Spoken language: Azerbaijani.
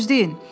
Gözləyin.